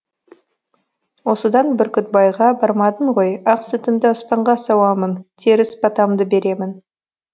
осыдан бүркітбайға бармадың ғой ақ сүтімді аспанға сауамын теріс батамды беремін